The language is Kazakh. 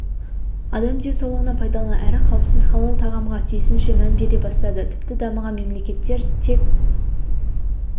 адам денсаулығына пайдалы әрі қауіпсіз халал тағамға тиісінше мән бере бастады тіпті дамыған мемлекеттер тек